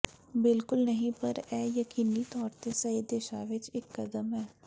ਬਿਲਕੁਲ ਨਹੀਂ ਪਰ ਇਹ ਯਕੀਨੀ ਤੌਰ ਤੇ ਸਹੀ ਦਿਸ਼ਾ ਵਿੱਚ ਇਕ ਕਦਮ ਹੈ